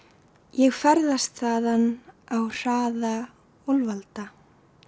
ég ferðast þaðan á hraða úlfalda